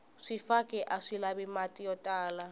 swifaki aswi lavi mati yo tala